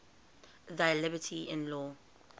thy liberty in law